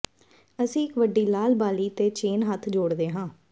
ਅਸੀਂ ਇੱਕ ਵੱਡੀ ਲਾਲ ਬਾਲੀ ਤੇ ਚੇਨ ਹੱਥ ਜੋੜਦੇ ਹਾਂ